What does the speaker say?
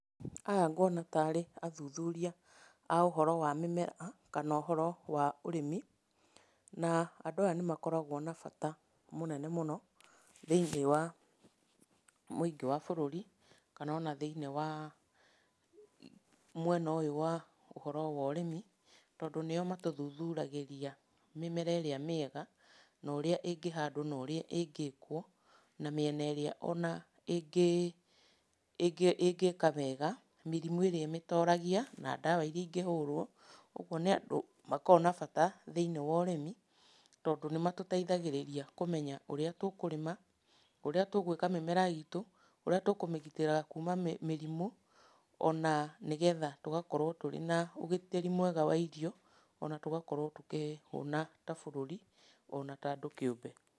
Haha nguona tarĩ athuthuria a ũhoro wa mĩmera, kana ũhoro wa ũrĩmi, na andũ aya nĩ makoragwo na bata mũnene mũno thĩiniĩ wa mũingĩ wa bũrũri, kana ona thĩiniĩ wa mwena ũyũ wa urĩmi, tondũ nĩo matũthuthagĩria mĩmera ĩrĩa mĩega, na ũrĩa ĩngĩhandwo, na ũrĩa ĩngĩkwo na mĩena ĩrĩa ona ĩngĩka wega, mĩrimũ ĩrĩa ĩmĩtoragia, na ndawa ĩrĩa ingĩhũrwo, ũguo nĩ andũ makoragwo na bata thĩiniĩ wa ũrĩmi, tondũ nĩmatũteithagĩrĩria kũmenya ũrĩa tũkũrĩma, ũrĩa tũgwĩka mĩmera itũ, ũrĩa tũkũmĩgitĩra kuma mĩrimũ, ona nĩgetha tũgakorwo tũrĩ na ũgitĩri mwega wa irio, ona tũgakorwo tũkĩhũna ta bũrũri, ona ta andũ kĩũmbe.